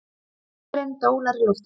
Örin dólar í loftinu.